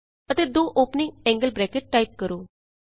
ਅਤੇ ਦੋ opening angle brackets type ਕਰੋ